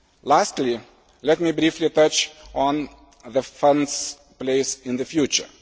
Lastly, let me briefly touch on the Fund's place in the future.